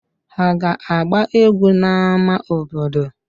Ha ga-agba egwu n'ámá obodo?